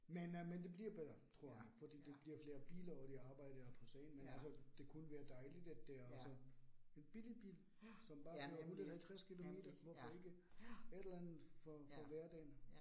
Men øh men det bliver bedre tror jeg nu, fordi det bliver flere biler, og de arbejder på sagen, men altså det kunne være dejligt, at det også en billig bil, som bare kører 150 kilometer, hvorfor ikke? Et eller andet for for hverdagen